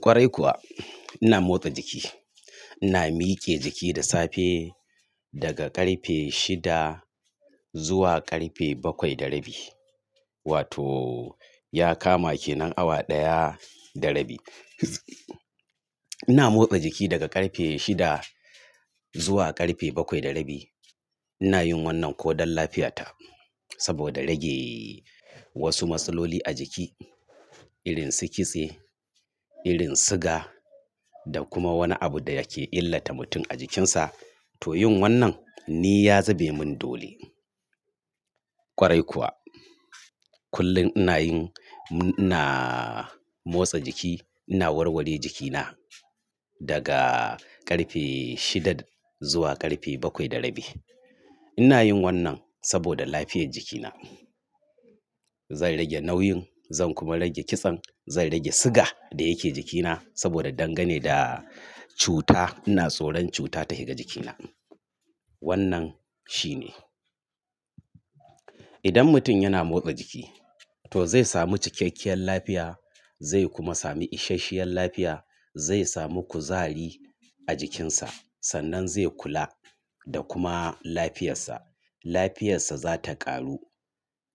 Kwarai kuwa ina motsa jiki, ina mike jiki da safe daga ƙarfe shida zuwa ƙarfe bakwai da rabi wato ya kama kenan awa ɗaya da rabi. Ina motsa jiki daga ƙarfe shida zuwa ƙarfe bakwai da rabi. Ina yin wannan ko don lafiyata saboda rage wasu matsaloli a jiki irin su kitse, irin siga da kuma wani abu da yake illata mutum a jikinsa. To yin wannan ni ya zube mun dole. Kwarai kuwa kullun ina yin, ina motsa jiki, ina warware jikina daga ƙarfe shida zuwa ƙarfe bakwai da rabi. Ina yin wannan saboda lafiyar jikina. Zan rage nauyin, zan kuma rage kitsen, zan rage siga da yake jikina saboda dangane da cuta ina tsoron cuta ta shiga jikina. Wannan shine. Idan mutum yana motsa jiki to zai sami cikakkiyar lafiya, zai kuma sami isasshiyar lafiya, zai sami kuzari a jikinsa sannan zai kula da kuma lafiyarsa. Lafiyarsa za ta ƙaru.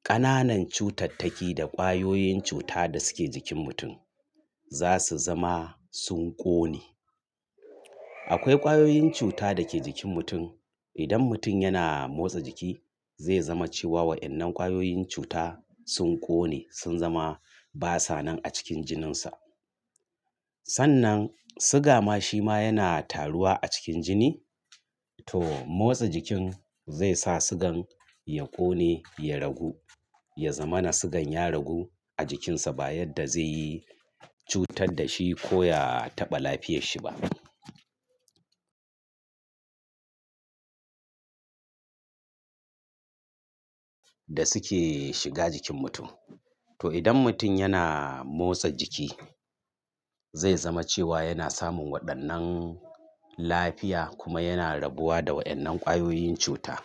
Ƙananan cutattaki da ƙwayoyin cuta da suke jikin mutum za su zama sun ƙone. Akwai ƙwayoyin cuta da ke jikin mutum. Idan mutum yana motsa jiki zai zama cewa wa'innan ƙwayoyin cuta sun ƙone sun zama basa nan a cikin jininsa. Sannan siga ma shi ma yana taruwa a cikin jini to motsa jikin zai sa sigan ya ƙone, ya ragu, ya zama na sigan ya ragu a jikinsa ba yadda zai yi cutar da shi ko ya taɓa lafiyarshi ba. Da suke shiga jikin mutum. To idan mutun yana motsa jiki zai zama cewa yana samun waɗannan lafiya kuma yana rabuwa da wa'innan ƙwayoyin cuta.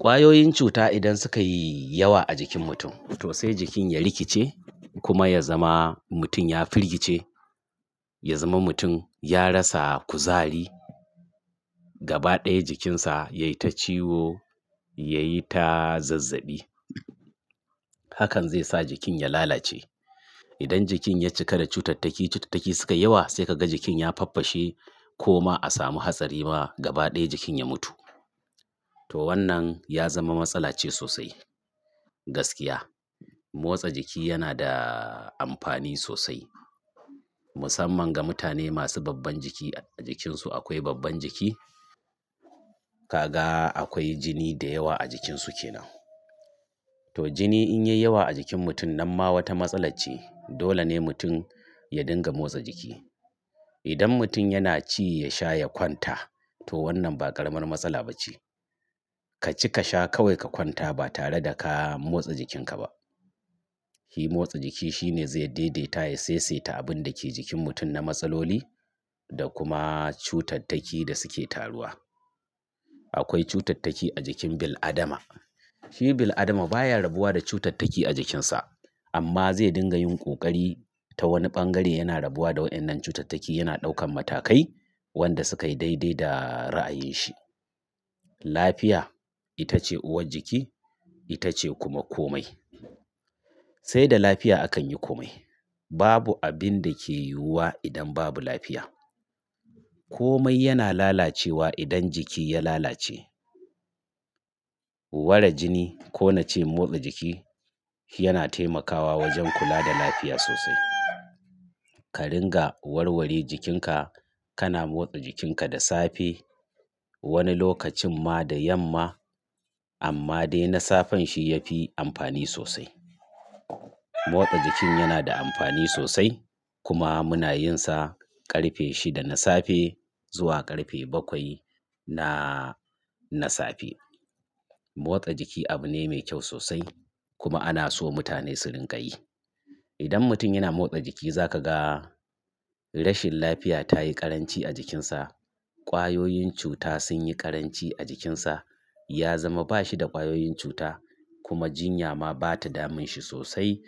Ƙwayoyin cuta idan suka yi yawa a jikin mutum to sai jikin ya rikice kuma ya zama mutum ya firgice, ya zama mutum ya rasa kuzari, gaba ɗaya jikinsa yai ta ciwo, yayi ta zazzaɓi. Hakan zai sa jikin ya lalace. Idan jikin ya cika da cutattaki, cutattaki suka yi yawa sai ka ga jikin ya faffashe ko ma a samu hatsari ma gaba ɗaya jikin ya mutu. To wannan ya zama matsala ce sosai gaskiya. Motsa jiki yana da amfani sosai musamman ga mutane masu babban jiki a jikinsu akwai babban jiki. Kaga akwai jini da yawa a jikinsu kenan. To jini in yai yawa a jikin mutum nan ma wata matsala ce dole ne mutum ya dinga motsa jiki. Idan mutum yana ci ya sha ya kwanta to wannan ba ƙaramar matsala ba ce. Ka ci ka sha kawai ka kwanta ba tare da ka motsa jikinka ba. Hi motsa jiki shine zai daidaita ya saisaita abun da ke jikin mutum na matsaloli da kuma cutattaki da suke taruwa. Akwai cutattaki a jikin bil'adama. Hi bil'adama baya rabuwa da cutattaki a jikinsa amma zai dinga yin ƙoƙari ta wani bangare yana rabuwa da wa'innan cutattaki yana ɗaukan matakai wanda suka yi daidai da ra'ayin shi. Lafiya ita ce uwar jiki ita ce kuma komai. Sai da lafiya akan yi komai. Babu abin da ke yiwuwa idan babu lafiya. Komai yana lalacewa idan jiki ya lalace. Ware jini ko na ce motsa jiki yana taimakawa wajen kula da lafiya sosai. Ka ringa warware jikinka, kana motsa jikinka da safe wani lokacin ma da yamma amma dai na safen shi ya fi amfani sosai. Motsa jikin yana da amfani sosai kuma muna yin sa ƙarfe shida na safe zuwa ƙarfe bakwai na safe. Motsa jiki abu ne mai kyau sosai kuma ana so mutane su rinƙa yi. Idan mutum yana motsa jiki za ka ga rashin lafiya ta yi ƙaranci a jikinsa, ƙwayoyin cuta sun yi ƙaranci a jikinsa, ya zama ba shi da ƙwayoyin cuta kuma jinya ma bata damun shi sosai.